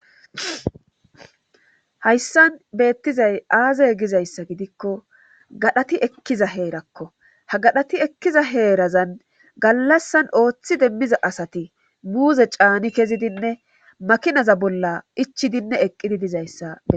hayssan beettizay aazey gizayssa gidikko gadhati ekkiza heerakko ha gadhati ekkiza heerazan gallassan ooththi demmiza asati muuze caani kezidinne makinaza bolla ichidinne eqqidi dizayssa.